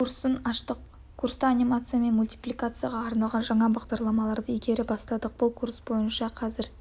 курсын аштық курста анимация мен мультипликацияға арналған жаңа бағдарламаларды игере бастадық бұл курс бойынша қазір